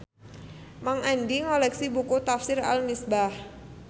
Mang Andi ngoleksi buku Tafsir Al Misbah